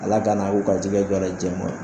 Ala kana u garisigɛ don a la diɲɛ kɔnɔ